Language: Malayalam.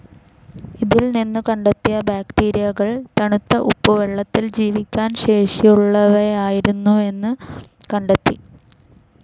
ഇതിൽ നിന്നു കണ്ടെത്തിയ ബാക്ടീരിയകൾ തണുത്ത ഉപ്പുവെള്ളത്തിൽ ജീവിക്കാൻ ശേഷിയുള്ളവയായിരുന്നുവെന്ന് കണ്ടെത്തി.